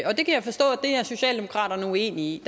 socialdemokraterne er uenige i